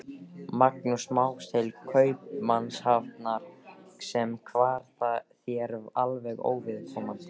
Magnúsar Más til Kaupmannahafnar, sem var þér alveg óviðkomandi.